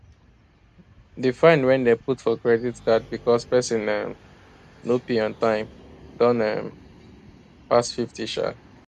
di fine wey dem put for credit card because persin um no pay on time don um pass fifty um